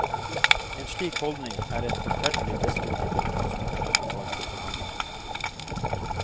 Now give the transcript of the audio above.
En slik holdning er et forferdelig destruktivt utgangspunkt for forhandlingene.